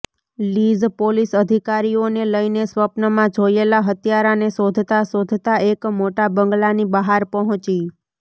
lease police અધિકારીઓને લઈને સ્વપ્નમાં જોયેલા હત્યારાને શોધતાં શોધતાં એક મોટા બંગલાની બહાર પહોંચી